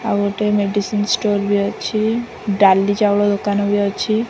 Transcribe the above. ଆଉ ଗୋଟେ medicine store ବି ଅଛି ଡାଲି ଚାଉଳ ଦୋକାନ ବି ଅଛି।